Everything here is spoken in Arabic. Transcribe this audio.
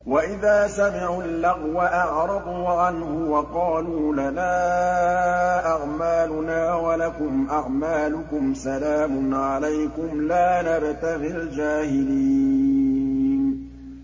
وَإِذَا سَمِعُوا اللَّغْوَ أَعْرَضُوا عَنْهُ وَقَالُوا لَنَا أَعْمَالُنَا وَلَكُمْ أَعْمَالُكُمْ سَلَامٌ عَلَيْكُمْ لَا نَبْتَغِي الْجَاهِلِينَ